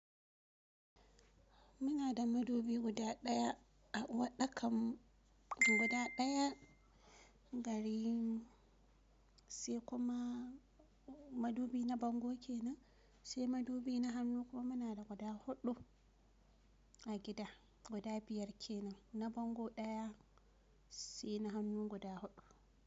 Muna da madubi guda daya a waɗakan guda daya garin sai kuma madubi na bango kenan, sai madubi na hannu kuma muna da guda huɗu a gida. Guda biyar kenan, na bango daya sai na hannu guda huɗu.